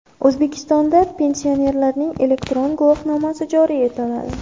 O‘zbekistonda pensionerlarning elektron guvohnomasi joriy etiladi.